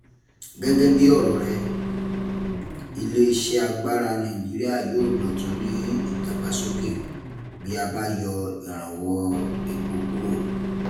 Gẹ́gẹ́ bí ọ̀rọ̀ rẹ̀, ilé iṣẹ́ agbára Nàìjíría yóò dọ̀tún ní ìdàgbàsókè bí a bá yọ ìrànwọ́ epo kúrò.